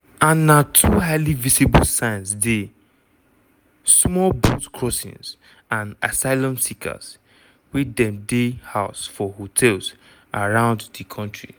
and na two highly visible signs dey - small boat crossings and asylum seekers wey dem dey house for hotels around di kontri.